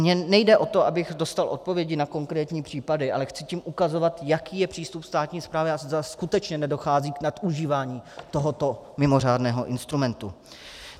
Mně nejde o to, abych dostal odpovědi na konkrétní případy, ale chci tím ukazovat, jaký je přístup státní správy a zda skutečně nedochází k nadužívání tohoto mimořádného instrumentu.